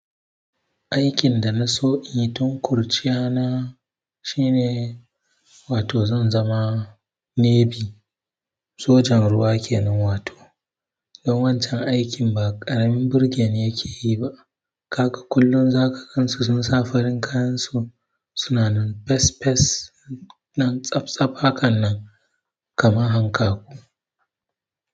Aikin da na so yi don kurciya na shine wato zan zama navy, sojan ruwa kenan wato. Dun wancan aikin ba ƙaramin burgeni ya keyi ba kaga kullum zaka gansu sun sa farin kayansu suna nan fes fes, nan tsaf tsaf hakan nan, kama hankaku.